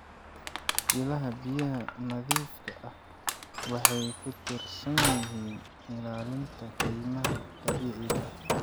Ilaha biyaha nadiifka ah waxay ku tiirsan yihiin ilaalinta kaymaha dabiiciga ah.